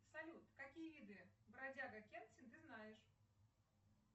салют какие виды бродяга кэнсин ты знаешь